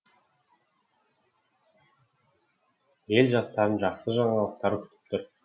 ел жастарын жақсы жаңалықтар күтіп тұр